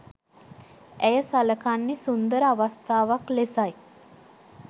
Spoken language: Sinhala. ඇය සළකන්නෙ සුන්දර අවස්ථාවක් ලෙසයි.